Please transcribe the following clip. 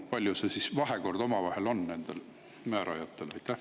Milline see omavaheline vahekord nendel määrajatel on?